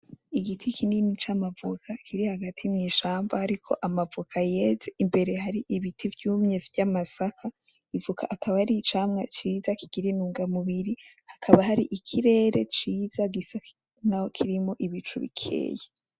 Igiti kinini c'amavoka kiri hagati mw'ishamba ariko c'amavoka yeze, imbere hari ibiti vyumye vy'amasaka. Ivoka akaba ari icamwa ciza kugira intunga mubiri, hakaba hari ikirere ciza gisa nkaho kirimwo ibicu bikeyi.